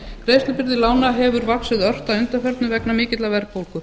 greiðslubyrði lána hefur vaxið ört að undanförnu vegna mikillar verðbólgu